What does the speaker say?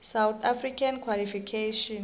south african qualifications